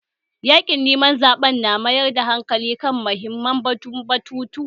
Yaƙin neman zaɓen na mayar da hankali kan muhimman batutuwa